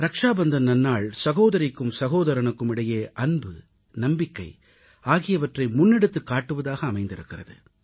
ரக்ஷாபந்தன் நன்னாள் சகோதரிக்கும் சகோதரனுக்கும் இடையே அன்பு நம்பிக்கை ஆகியவற்றை முன்னெடுத்துக் காட்டுவதாக அமைந்திருக்கிறது